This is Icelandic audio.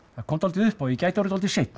það kom dáldið upp á ég gæti orðið dáldið seinn